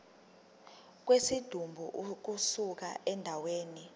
kwesidumbu ukusuka endaweni